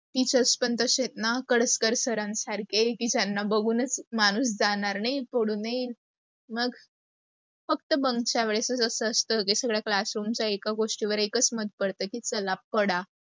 teachers पण तशे आहेत ना कडक कर sir न सारखे की त्यांना बघूनच माणूस जाणार नाही पळून ही. मग फक्त bunk च्या वेळेसच अस असत सगळ्या classroom च एका गोष्टी वर एकाच् मत पडत की चला पळा.